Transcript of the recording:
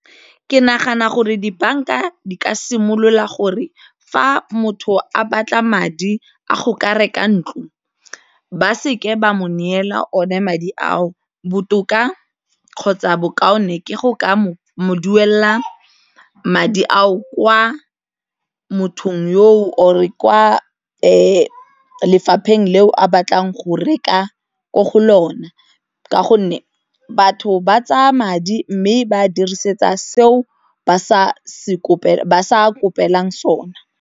Ke nagana gore dibanka di ka simolola gore fa motho a batla madi a go ka reka ntlo ba se ke ba mo neela one madi ao, botoka kgotsa bokaone ke go ka duela madi ao, kwa mothong yo or kwa lefapheng leo a batlang go reka ko go lona ka gonne batho ba tsaya madi mme ba dirisetsa seo ba sa kopelang sona.